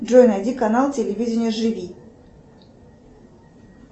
джой найди канал телевидение живи